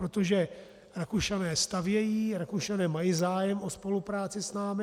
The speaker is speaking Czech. Protože Rakušané stavějí, Rakušané mají zájem o spolupráci s námi.